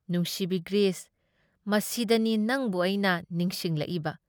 ꯅꯨꯡꯁꯤꯕꯤ ꯒ꯭ꯔꯤꯁ, ꯃꯁꯤꯗꯅꯤ ꯅꯡꯕꯨ ꯑꯩꯅ ꯅꯤꯡꯁꯤꯡꯂꯛꯏꯕ ꯫